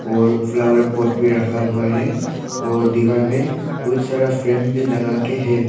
और flower pot भी रखा हुआ है और दीवार में बहुत सारा फ्रेम भी लगा के है।